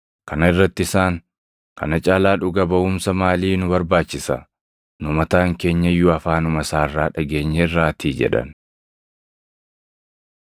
Kana irratti isaan, “Kana caalaa dhuga baʼumsa maalii nu barbaachisa? Nu mataan keenya iyyuu afaanuma isaa irraa dhageenyeerraatii” jedhan.